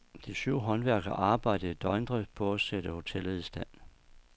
De syv håndværkere arbejdede i døgndrift på at sætte hotellet i stand.